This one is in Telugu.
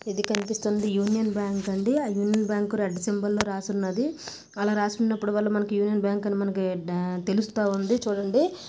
ఇది కనిపిస్తుంది యూనియన్ బ్యాంక్ అండి ఆ యూనియన్ బ్యాంక్ రెడ్ సింబలో రాసి ఉందండి అలా రాసి ఉన్నప్పుడు వాళ్ళు మనకి యూనియన్ బ్యాంక్ అని మనకి తేలుస్తా ఉంది చూడండి.